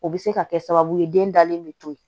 O bɛ se ka kɛ sababu ye den dalen bɛ to yen